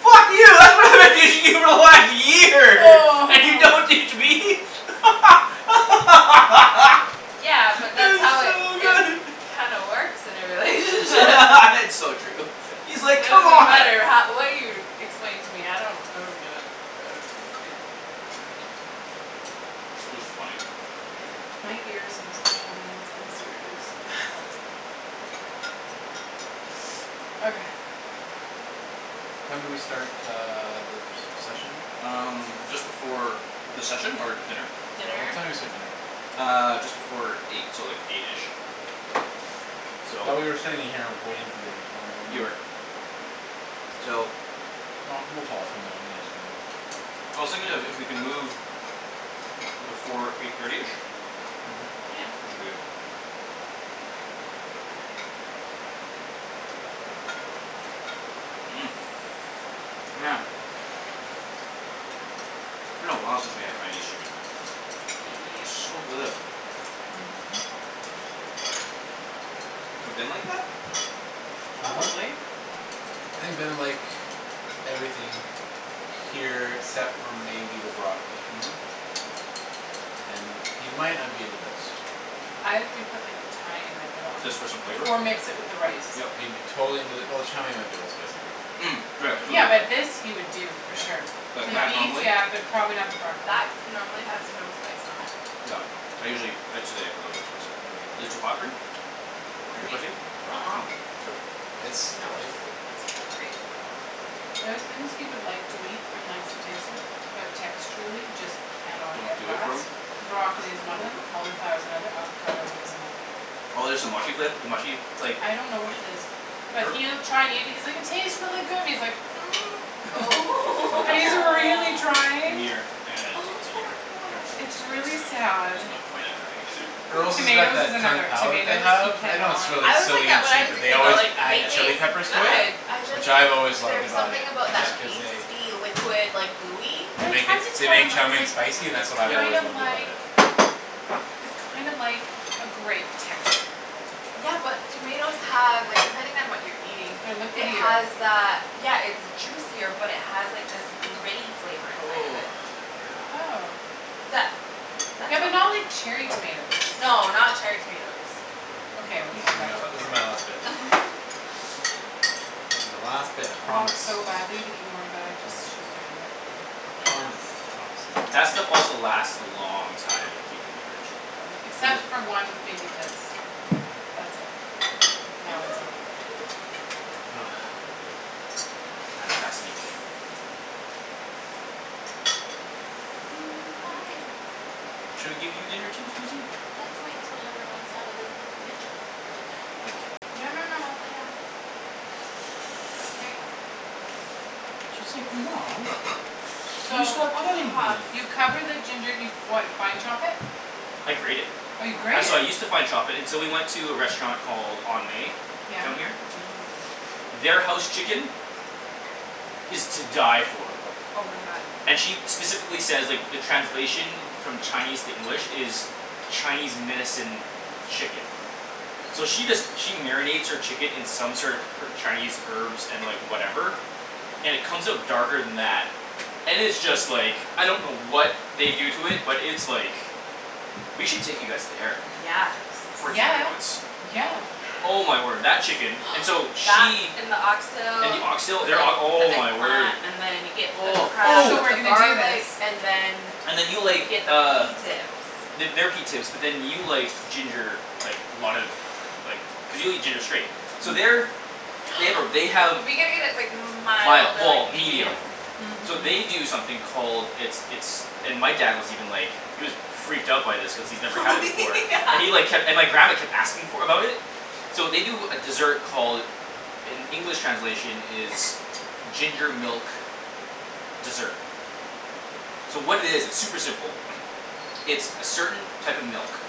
"Fuck you for one year, Oh. and you don't teach me?" Yeah, but that's That how was it, so it good. kinda works in a relationship. It's so true. He's, It like, "Come doesn't on." matter how, what you explain to me; I don't, I don't get it. I don't get it. I don't get it. That was funny. Yeah. My ears have special needs. I'm serious. Okay. What time did we start uh the se- session? Um, just before The session? Or dinner? Yeah, what time did we start dinner? Uh, just before eight, so like eight-ish. So. Thought we were sitting in here waiting for dinner, so You were. So. No, no. I was thinking if, if we can move before eight thirty-ish Mhm. Yeah. we should be good. Mmm, man. It's been a while since we had Haianese chicken. Yep. It's so good. Mhm. Mhm. We've been like that? Mhm. Probably. I think Ben would like everything here except for maybe the broccoli. Mhm. And he might not be into this. I would put, like, tiny bit of it on. Just for some flavor? Or mix it Yeah. with the rice. Yep. He'd be totally into the, well, the chow mein might be a little spicy for him too, actually. Mm, right, cuz Yeah, of but this the he would do for sure. Yeah. Like, The that, beef, normally? yeah, but probably not the broccoli. That normally has no spice on it. Yep, I usually, ah, today I put a little bit of spice in it. Is it too hot for you? For Too me? spicy? Uh- uh. Oh, good. It's No, delightful. it's great. There are thing he would like to eat and likes to taste it but texturally just can not Don't get do it past. for him? Broccoli is one of them, cauliflower is another, Hm. avocado is another. Oh there's the mushy fla- the mushy, like I don't know what it is. But Or he'll try and eat and he's like, "It tastes really good" and he's like, Oh. And he's a really Aw. trying. Gimme your, ah, take Oh, this outta poor here. Sure. It's guy. Cuz it's really kind of, sad. there's no point of having it in there. Earl's has got Tomatoes is that Kung another. Pow that they Tomatoes, he have. I know it's cannot. really I was like silly and that when I cheap was but a they kid always though. No, They add yep. chile taste peppers to it Yep. good. I just, which I've always loved there's about it, something about that Yeah. just cause they pasty liquid, like, gooey. they Well, I make it, tried to they tell make him. I chow was mein like, spicy and that's what "It's I've Yeah kind always of loved about like it. it's kind of like a grape texture." Yeah, but tomatoes have, like, depending on what you're eating They're it liquidier. has that, yeah, it's juicier but it has, like, this gritty flavor inside of it. Oh, yeah. Oh. That That's Yeah, what but not like cherry tomatoes. No, not cherry tomatoes. Okay, we're This going is back my, to Mm. this is my last bit. This is my last bit, I I promise. want so badly to eat more but I just Mm. I, I shouldn't do it. I can't promise. My That promise stuff is also a lie. lasts a long time if you keep it in the fridge. Really, Cuz except it for one, maybe this. That's it; now it's over. Hi. Should we give you dinner too, Susie? Let's wait till everyone's out of the kitchen. Or the dinning room. Okay. No, no, no, no, lay down. There you go. Mom. You So stopped Oh, petting huff. me. you cover the ginger, you what, fine chop it? I grate it. Oh, you I, grate it? so I use to fine chop it until we went to a restaurant called On May Yeah. down Mhm. here. Their house chicken is to die for. Oh, my god. And she specifically says, like, the translation from Chinese to English is Chinese medicine chicken. So she does she marinates her chicken in sort of her- Chinese herbs and, like, whatever and it comes out darker than that and it's just, like Yeah. I don't know what they do to it but it's, like we should take you guys there Yes. for dinner Yeah, once. yeah. Oh, yeah. Oh, my word, that chicken. And so That she and the And oxtail the oxtail, with like their ok- oh, the my eggplant word. and then you get the Oh. crab So with we're the Ooh. Oh. gonna do this. garlic and then And then you you like, get the pea uh tips. The, their pea tips but then you like ginger, like, a lot of like, cuz you'll eat ginger straight. So their They have a, they have We gotta get it, like, mild Mild, or, well, like, medium. medium. So Mhm. they do something called It's, it's and my dad was even like he was freaked out by this cuz he's never Oh had it before yeah. and he like kept, and my grandma kept for, about it. So they do a desert called in English translation is ginger milk dessert. So what it is, it's super simple. It's a certain type of milk.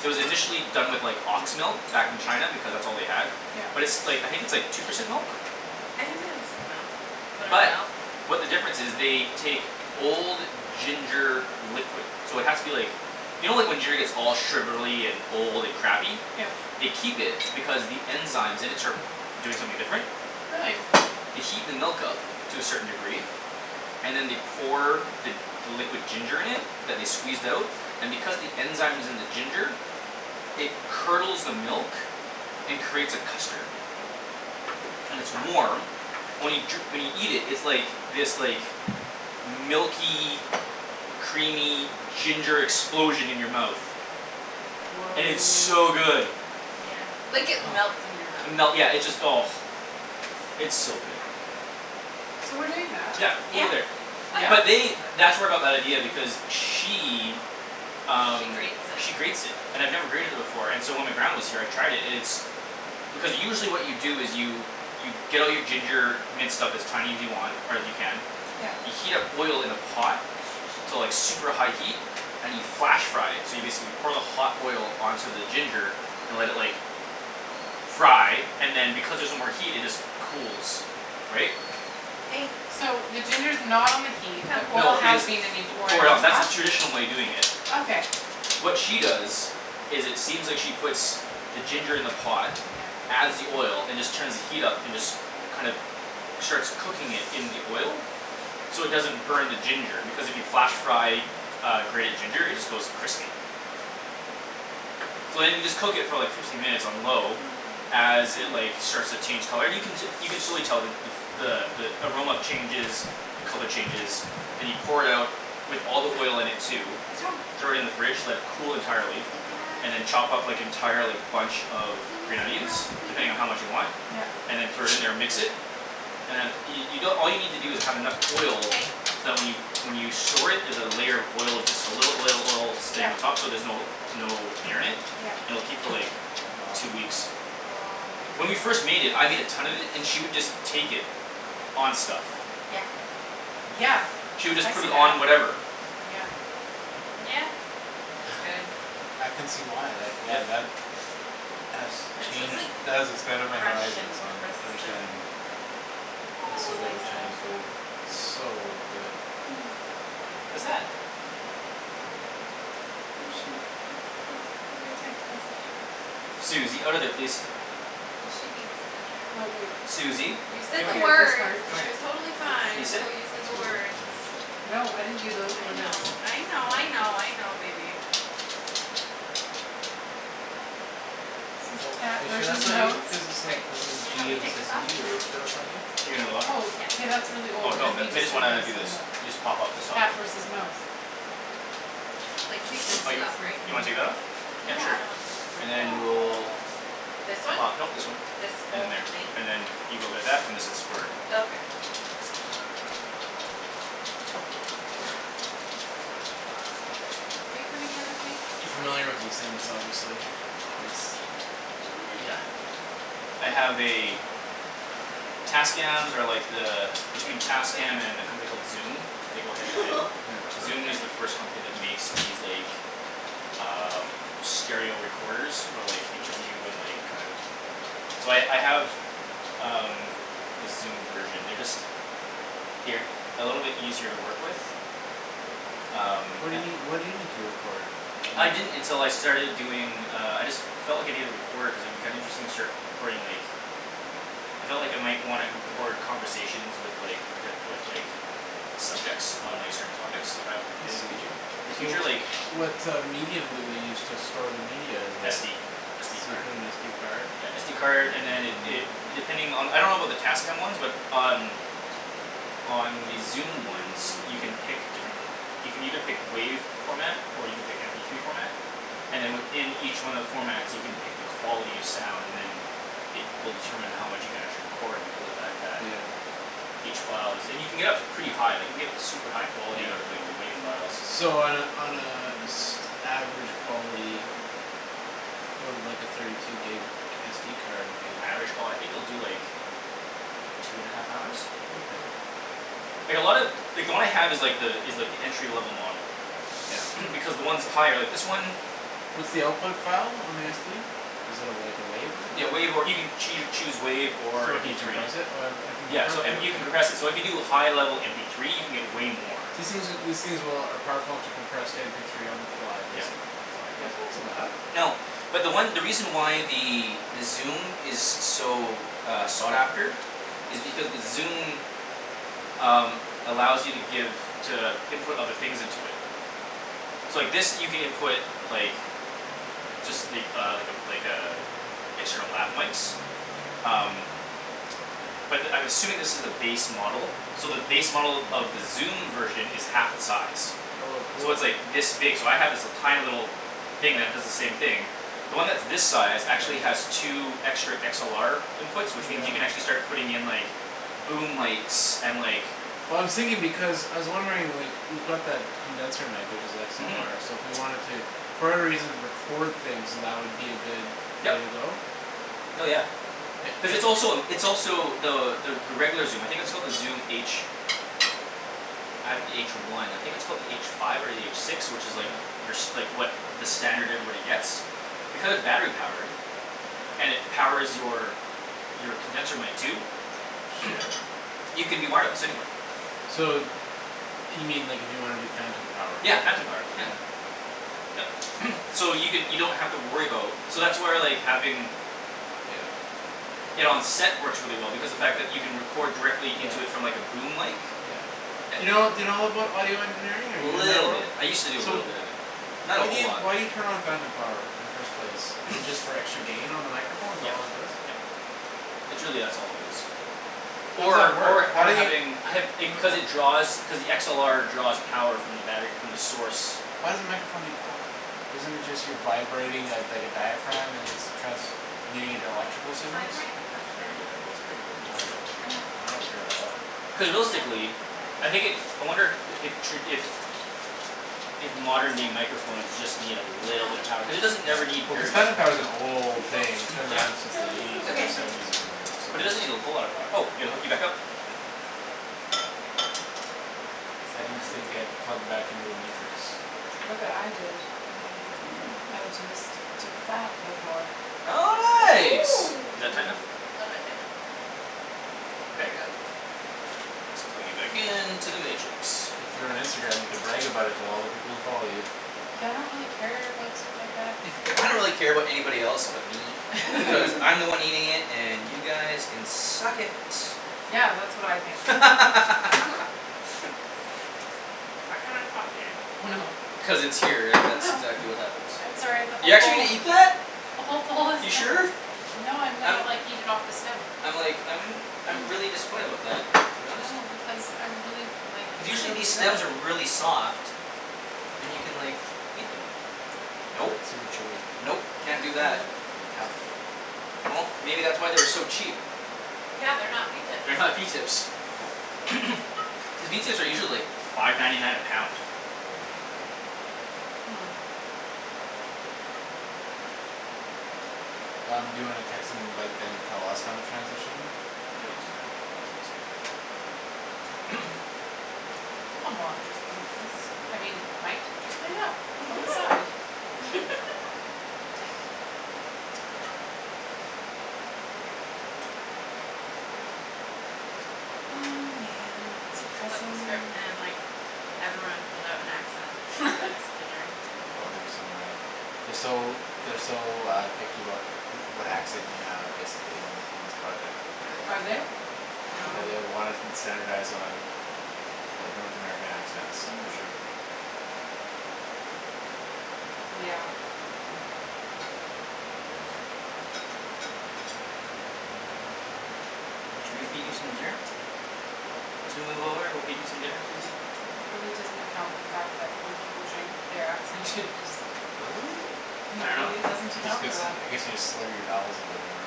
It was initially done with, like, ox milk back in China because that's all they had Yep. but it's, like, I think it's, like, two percent milk? I think they just use milk, whatever But milk. what the difference is, they take old ginger liquid. So it has to be, like you know like, when giner gets all sugarly and old and crappy? Yeah. They keep it because the enzymes in it start doing something different. Really. They heat the milk up to a certain degree and then they pour the, the liquid ginger in it that they squeezed out and because the enzyme's in the ginger it curdles the milk and creates a custard. And it's warm only jur- when you eat it, it's like, this, like, milky creamy ginger explosion in your mouth. Woah. And it's so good. Like, it melts in your And melt, mouth. yeah, it just, oh. It's so good. So we're doing that? Yeah, Yeah. over there. Yeah? Oh, But yeah. they, th- that's where I got that idea because she She um, she grates it. grates it. And I've never grated it before and so when my grandma was here I tried it, and it's because usually what you do is you you get all your ginger minced up as tiny as you want, or as you can Yeah. you heat up oil in a pot to like super high heat and you flash fry it so you basically pour the hot oil onto the ginger and let it, like fry and then because there's no more heat it just cools. Right? Hey. So the ginger's not on the heat, the Come. oil No, it has is. been and you pour it Pour it on out, that's the top? traditional way of doing it. Sit. Okay. What she does is it seems like she puts the ginger in the pot Yep. adds the oil and just turns the heat up and just kind of, starts cooking it in the oil. So it doesn't burn the ginger because if you flash fry uh, grated ginger it just goes crispy. So then you just cook it for like fifteen minutes on low Oh, as it, oh. like, starts to change color, and you can te- you can surely tell the, the f- the, the aroma changes the color changes then you pour it out with all the oil in it too What's wrong? throw it in the fridge, let it cool entirely and then chop up, like, entire, like, bunch of green Gimme onions some depending on how broccoli. much you want Yup. Gimme and then throw it in some there and mix it broccoli. and then you, you don- all you need to do is have enough oil so Hey. that when you, when you store it, there's a layer of oil, just a little oil, oil stain on Yup. top so there's no, no air in it, Yup. and it'll keep for, like, Wow. two weeks. Oh, my When we goodness. first made it, I made a ton of it and she would just take it on stuff. Yeah. Yeah, She would just I put see it that, on whatever. yeah. Yeah, it's good. I can see why, like, yeah, Yep. that has It's just, changed, like, that has expanded my fresh and horizons on crisp and understanding a Was so little good with spicy. Chinese food, so good. Hm. What's that? Oh, shoot. Look, look at my text message. Susie, outta there, please. She needs dinner. Susie, You said come the words. here, come She here. was totally fine Can you This. sit? until you That's said the you, words. yeah. No, I didn't do those I or those. know, I know, I Oh. know, I know, baby. Oh, are you sure that's not you, cuz it's I, like, this is can you help G me and this take is this off? you. Are you sure that's not you? You're gonna what? Oh, Yeah. k, that's really Oh, old. no, Then he the, they just did this just and wanna do this. You this. just pop up this soft Cat one. versus mouse. Like, take this Oh, thing you, off, right? you wanna take that off? Yeah, Yeah, I don't want sure, and to then Oh. we'll This one? pop, no, this This whole one. thing? And then there. And then you go there that, and this is for Oh, okay. Are you coming You in with me? familiar with these things, obviously. These Yeah. I have a Tascams are like the between Tascam and a company called Zoom they go head to head. Yeah. Zoom is the first company that makes these, like, uh stereo recorders for, like interview and, like, kind of So I, I have um, the Zoom version. They're just they're e- a little bit easier to work with. Um. What do you need, what do you need to record? I didn't until I starting doing, uh, I just felt like I needed a recorder cuz it would be kinda interesting to start re- recording, like I felt like I might wanna record Yeah? conversations with, like, poten- with, like subjects on, like, certain topics if I I in the see. futu- in the So future, like what uh medium do they use to store the media is a SD. So SD you card. put an SD card? Yeah, SD card and then it, it it, depending on the, I don't about the Tascam ones but um on the Zoom ones you can pick different you can either pick WAV format or you can pick MP three format and then within each one of the formats you can pick the quality of sound, and then it will determine how much you can actually record because the fact that Yeah. each file is, and you can get up to pretty high, like, you can get super high quality out of, like, the Yeah. WAV files. So on a, on a s- average quality what would like a thirty two gig SD card do? Average qual- I think it will do, like two and a half hours? Okay. Like, a lot of like, the one I have is, like, the, is like, the entry level model. Yep. Because the ones with higher, like, this one What's the output file on the SD? Is it a, like, a wave or Yeah, WAV, or you something? can choo- choose WAV or So you MP three. decompress it? Oh uh I can Yeah, compress so, it, and you can okay. compress it, so if you do high level MP three you can get way more. These things are, these things will, are powerful enough to compress to mp three on the fly, Yep, basically? on the file, yep. That's not so bad. No, but the one, the reason why the Zoom is so, uh, sought after is because the Zoom um, allows you to give to input other things into it. So, like, this you can input like just, like, uh, like a, like a external lab mikes. Hm. Um. But I'm assuming this is the base model. So the base model of the Zoom version is half the size. Oh a So cool. it's, like, this big, so I have, like, this tiny little thing Yeah. that does the same thing. The one that's this size actually has Yeah. two extra XLR inputs which means you can Yeah. actually start putting in, like boom mikes and, like Well, I was thinking because, I was wondering, like, we've got that condenser mic which is Mhm. XLR so if we wanted to for whatever reason record things, that would be a good way to Yep. go? Hell, yeah. It, Cuz it it's also a, it's also the, the, the regular Zoom, I think it's called the Zoom H. I have the H one. I think it's called the H five or the H six, which is, like Yeah. your s- like, what, the standard everybody gets. Because battery-powered. And it powers your your condenser mic too. Shit. You can do wireless, anywhere. So you mean, like, if you wanna do phantom power. Yeah, phantom power, Yeah. yeah. Yep, so you can, you don't have to worry about So that's where, like, having Yeah. it on set works really well because the fact that you can Yeah. record directly Yeah. into it from, like, a boom mic. Yeah. Do you know, do you know about audio engineering or are Little you bit. I used to do a So little w- bit of it. Not a why do whole you, lot. why do you turn on phantom power in the first place? Is it just for extra gain on the microphone? Is that Yep, all it does? yep, it's really that's all it is. Or at Or, work, or, how or do you having, I have, it, cuz it draws cuz the XLR draws power from the battery, from the source. Why does the microphone need power? Isn't it just you vibrating a, dike a diaphragm and it's transmuting into electrical signals? That's a very good, ah, that's a very gor, good I gotta, question. I gotta figure that out. Cuz realistically I think it, I wonder the, if tra- if if modern day microphones just need a little bit of power cuz it doesn't Yeah, ever need well, cuz very much phantom power power. is an old thing; it's been around Yeah. since You the look eighties so or Okay. grumpy. seventies or whatever, But it doesn't need a whole lot of so. power. Oh, yeah, gotta hook you back up. Ped needs to get plugged back into the Matrix. Look what I did. I just took that before. Oh, Oh. nice. Is that tight Mm. enough? A little bit tighter. There you Okay? go. Ah, let's plug you back into the Matrix. If you were on Instagram, you could brag about it to all the people who follow you. Yeah, I don't really care about stuff like that. I don't really care about anybody else but me. Cuz I'm the one eating it and you guys can suck . Yeah, that's what I think. Mhm. I cannot stop eating. Oh, no. Cuz it's here and Oh, that's no. exactly what happens. I'm sorry the You're whole actually bowl gonna eat that? the whole bowl is You sure? No, I'm gonna, I'm like, eat it off the stem. I'm like, I'm I'm really disappointed about that to be honest. No, because I really, like, Cuz it's usually really these stems are good. really soft. And you can, like eat them. But Nope, it's super chewy nope, can't do that. and tough. Well, maybe that's why they were so cheap. Yeah, they're not pea tips. They're not pea tips. Cuz pea tips are usually, like, five ninety nine a pound. Hmm. Um, do you wanna text and invite them to tell us when to transition? I mought just leave this, I mean, might just leave that on the side. Oh, man, its Coulda just flipped the pressing. script and, like Everyone pulled out an accent for this dinner. Oh, they'd be so mad. They're so, they're so uh picky about who- what accent you have, basically, on, in this project. Are Really? they? Yeah. Yeah, No. they uh Oh. wanna st- standardize on of like North American accents, for Mhm. sure. Yeah. Should we feed you some dinner? Once we move over we'll feed you some dinner, Susie. It really doesn't account for the fact that when people drink their accent changes. I It really dunno. doesn't This account for gets, that. I guess you just slur your vowels a bit more.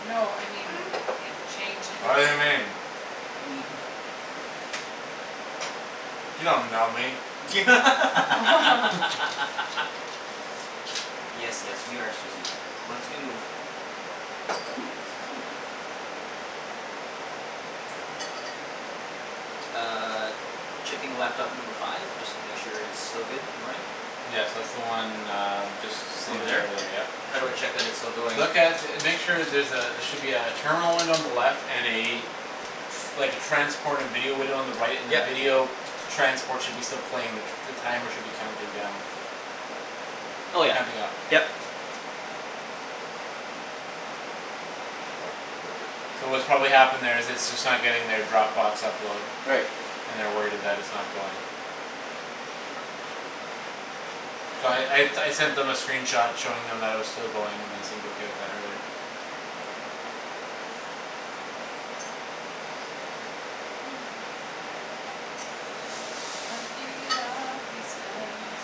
No, I mean it changes. Yes, yes, we are Susie, once we move. Uh Checking laptop number five just to make sure it's still good and running. Yes, that's the one uh just Just sitting over right over there, there. yep. How do I check that it's still going? Look at, make sure there's a, there should be a terminal window on the left and a like, a transported video window on the right and the Yep. video transport should still be playing the c- the timer should be counting down. Oh yeah, Counting up, yep. yep. So what's probably happened there is it's just not getting their Dropbox upload. Right. And they're worried it, that it's not going. So I, I, I sent them a screen shot showing them that it was still going and they seemed okay with that earlier. I'm eating it all, pea stems,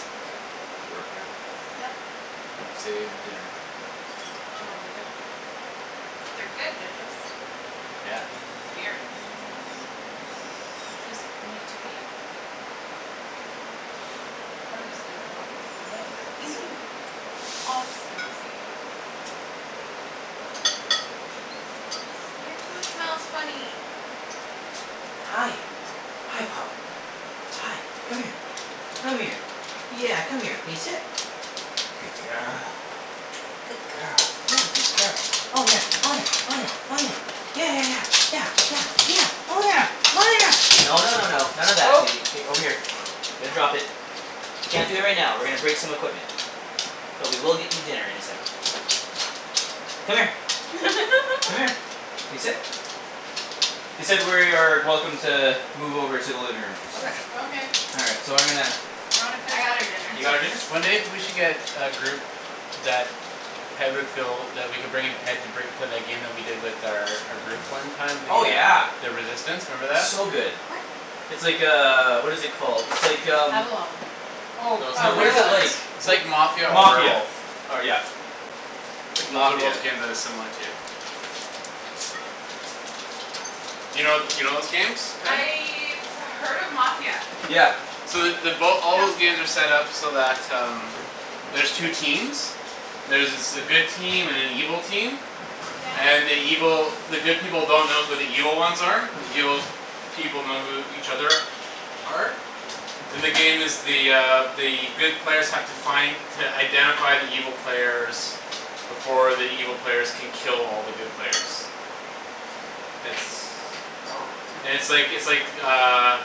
super good. Good work here. Yep. It saved dinner. No, they're good. They're good; they're just weird. They just need to be harvested off of the middle bits. Off, Susie. Your food smells funny. Hi, hi, pup. Hi, come here. Come here. Yeah, come here. Can you sit? Good girl. Good girl, yeah, good girl. Oh, yeah, oh, yeah, oh, yeah, oh, yeah. Yeah, yeah, yeah, yeah, yeah, yeah. Oh, yeah, oh, yeah, no, no, no, no. None of that, Oh. Susie, k, over here. Here, drop it. You can't do it right now. We're gonna break some equipment. But we will get you dinner in a second. Come here. Come here. Can you sit? They said we're, are welcome to move over to the living room. Okay. Okay. All right, so I'm gonna I wanna I finish got my her dinner. You pea got tips. her dinner? One day we should get a group that Ped would feel that we could bring in Ped to break for that game we did with their, our group one time, the Oh, uh yeah. the Resistance, remember that? So good. What? It's like, uh, what is it called, it's like, um Avalon. Oh, No uh No, what is it, like It's like Mafia wha- or Mafia, Werewolf. or, yeah. It's Those are both Mafia. games that it's similar to. You know, you know those games, Ped? I've heard of Mafia. Yeah. So the, they both, all Come. those games are set up so that um there's two Sit. teams. There's s- a good team and an evil team. Yeah. And the evil, the good people don't know who the evil ones are but the evil people know who each other are. And the game is the uh the good players have to find to identify the evil players before the evil players can kill all the good players. It's Oh. and it's like, it's like uh